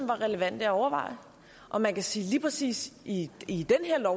relevante at overveje og man kan sige lige præcis i i det her